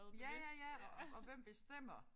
Ja ja ja og og hvem bestemmer